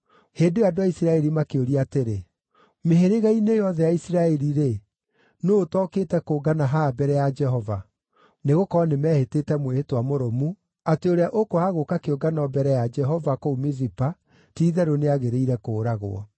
Hĩndĩ ĩyo andũ a Isiraeli makĩũria atĩrĩ, “Mĩhĩrĩga-inĩ yothe ya Isiraeli-rĩ, nũũ ũtokĩte kũngana haha mbere ya Jehova?” Nĩgũkorwo nĩmeehĩtĩte mwĩhĩtwa mũrũmu atĩ ũrĩa ũkwaga gũũka kĩũngano mbere ya Jehova kũu Mizipa ti-itherũ nĩagĩrĩire kũũragwo.